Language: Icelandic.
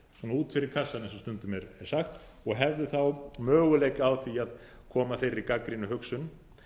út fyrir kassann eins og stundum er sagt og hefðu þá möguleika á því að koma þeirri gagnrýnu hugsun